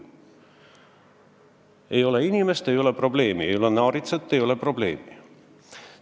Ei ole inimest, ei ole probleemi; ei ole naaritsat, ei ole probleemi!